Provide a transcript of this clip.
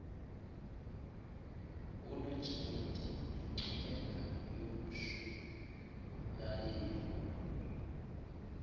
unojayiti yiingcungela yomshurnayeli